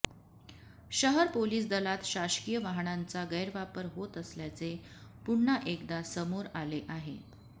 शहर पोलिस दलात शासकीय वाहनांचा गैरवापर होत असल्याचे पुन्हा एकदा समोर आले आहे